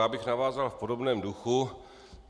Já bych navázal v podobném duchu.